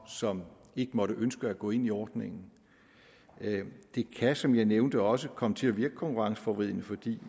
som ikke måtte ønske at gå ind i ordningen det kan som jeg nævnte også komme til at virke konkurrenceforvridende fordi